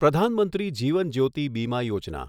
Pradhan Mantri Jeevan Jyoti Bima Yojana